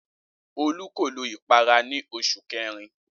Olú kò lo ìpara ní oṣù kẹrin.